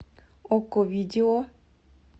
окко видео